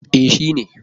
E, shi ne.